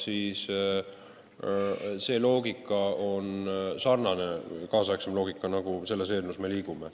Üldine suundumus ja kaasaegne loogika on selline, mille poole ka meie selle eelnõuga liigume.